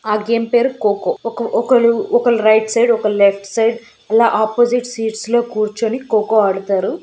ఆ గేమ్ పేరు. కోకో ఒక_ ఒకళ్ళు రైట్ సైడ్ ఒకళ్ళు లెఫ్ట్ సైడ్ ఇలా ఆపోజిట్ సీట్స్ లో కూర్చొని కోకో ఆడుతారు.